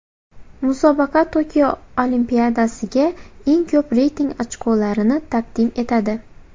Musobaqa Tokio Olimpiadasiga eng ko‘p reyting ochkolarini taqdim etadi.